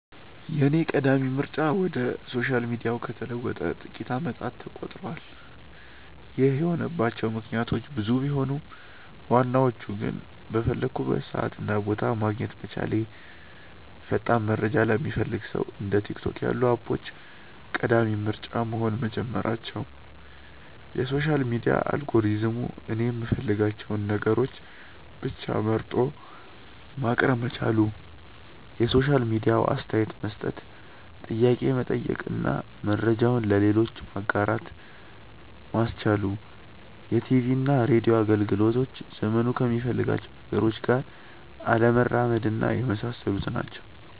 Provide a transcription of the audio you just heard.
የኔ ቀዳሚ ምርጫ ወደ ሶሻል ሚዲያው ከተለወጠ ጥቂት አመታት ተቆጥረዋል። ይህ የሆነባቸው ምክንያቶች ብዙ ቢሆኑም ዋናዎቹ ግን:- በፈለኩበት ሰዓት እና ቦታ ማግኘት መቻሌ፣ ፈጣን መረጃ ለሚፈልግ ሰው እንደ ቲክቶክ ያሉ አፖች ቀዳሚ ምርጫ መሆን መጀመራቸው፣ የሶሻል ሚዲያ አልጎሪዝሙ እኔ የምፈልጋቸውን ነገሮች ብቻ መርጦ ማቅረብ መቻሉ፣ የሶሻል ሚዲያው አስተያየት መስጠት፣ ጥያቄ መጠየቅ እና መረጃውን ለሌሎች ማጋራት ማስቻሉ፣ የቲቪና ሬድዮ አገልግሎቶች ዘመኑ ከሚፈልጋቸው ነገሮች ጋር አለመራመድና የመሳሰሉት ናቸው።